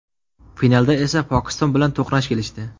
Finalda esa Pokiston bilan to‘qnash kelishdi.